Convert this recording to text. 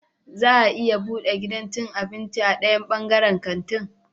Za a bude gidan cin abinci a dayan bangaren kanti